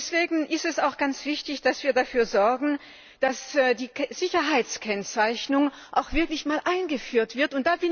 Deswegen ist es auch ganz wichtig, dass wir dafür sorgen, dass die Sicherheitskennzeichnung auch wirklich mal eingeführt wird.